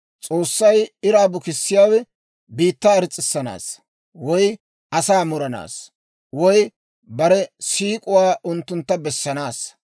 S'oossay iraa bukissiyaawe biittaa irs's'issanaassa, woy asaa muranaassa, woy bare siik'uwaa unttuntta bessanaassa.